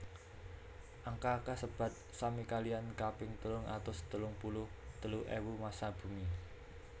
Angka kasebat sami kaliyan kaping telung atus telung puluh telu ewu massa bumi